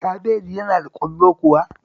Kabeji yana da ƙwallo kuwa?